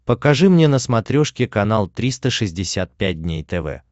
покажи мне на смотрешке канал триста шестьдесят пять дней тв